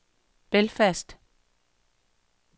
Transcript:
Belfast